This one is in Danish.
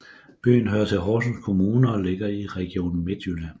Byen hører til Horsens Kommune og ligger i Region Midtjylland